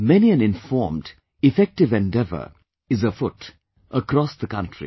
Many an informed, effective endeavour is afoot across the country